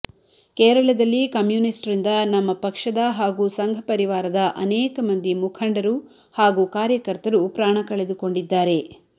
ಕೇರಳದಲ್ಲಿ ಕಮ್ಯುನಿಸ್ಟ್ರಿಂದ ನಮ್ಮ ಪಕ್ಷದ ಹಾಗೂ ಸಂಘ ಪರಿವಾರದ ಅನೇಕ ಮಂದಿ ಮುಖಂಡರು ಹಾಗೂ ಕಾರ್ಯಕರ್ತರು ಪ್ರಾಣ ಕಳೆದುಕೊಂಡಿದ್ದಾರೆ